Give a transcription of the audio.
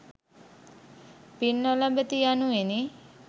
පින් නොලබති යනුවෙනි.